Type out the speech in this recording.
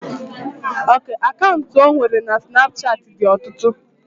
Akantu ọ nwere na snapuchat dị ọtụtụ